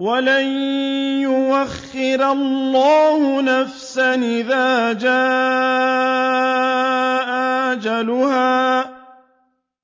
وَلَن يُؤَخِّرَ اللَّهُ نَفْسًا إِذَا جَاءَ أَجَلُهَا ۚ